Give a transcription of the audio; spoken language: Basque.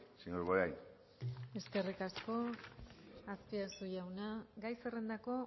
señor bollain eskerrik asko azpiazu jauna gai zerrendako